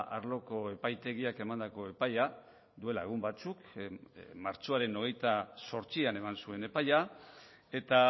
arloko epaitegiak emandako epaia duela egun batzuk martxoaren hogeita zortzian eman zuen epaia eta